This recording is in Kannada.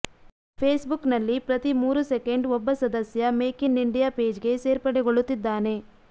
ಫೇಸ್ ಬುಕ್ ನಲ್ಲಿ ಪ್ರತಿ ಮೂರು ಸೆಕೆಂಡ್ ಒಬ್ಬ ಸದಸ್ಯ ಮೆಕ್ ಇನ್ ಇಂಡಿಯಾ ಪೆಜ್ ಗೆ ಸೇರ್ಪಡೆಗೊಳ್ಳುತ್ತಿದ್ದಾನೆ